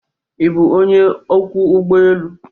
Ị bụ onye ọkwọ ụgbọ elu?